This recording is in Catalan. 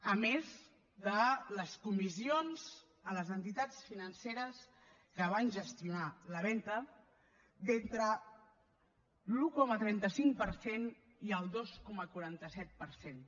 a més de les comissions a les entitats financeres que van gestionar la venda d’entre l’un coma trenta cinc per cent i el dos coma quaranta set per cent